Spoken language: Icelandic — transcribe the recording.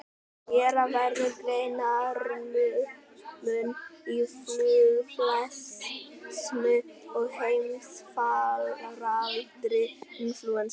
Gera verður greinarmun á fuglaflensu og heimsfaraldri inflúensu.